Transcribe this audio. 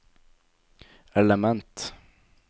element